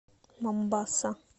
момбаса